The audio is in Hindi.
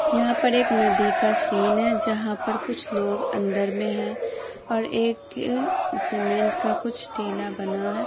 यहाँ पर एक नदी का सीन है जहाँ पर कुछ लोग अंदर में है और एक सीमेंट का कुछ टीला बना है।